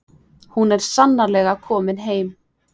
Hún er sannarlega komin heim.